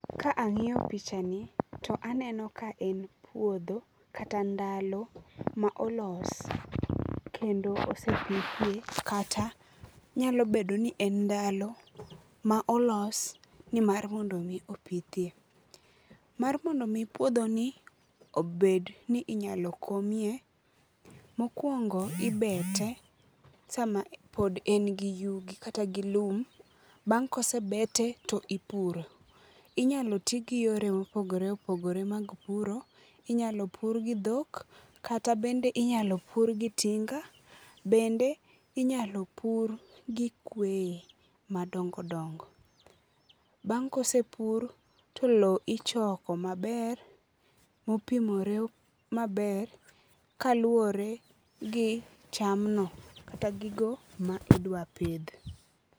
Ka ang'iyo picha ni, to aneno ka en puodho kata ndalo ma olos kendo osepithie kata nyalo bedo ni en ndalo ma olos ni mar mondo mi opithie. Mar mondo mi puodhoni obed ni inyalo komie, mokuongo ibete sama pod en gi yugi kata gi lum. Bang' ka osebete to ipuro, inyalo ti gi yore mopogore opogore mag puro inyalo pur gi dhok kata bende inyalo pur gi tinga bende inyalo pur gi kwe madongo dongo. Bang' ka osepur to lowo ichoko maber mopimore maber kaluwore gi cham no kata gigo ma idwa pidh.